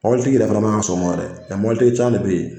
Mɔbilitigi yɛrɛ fana man ka sɔn o ma yɛrɛ ,ɛɛ mɔbilitigi caman de be yen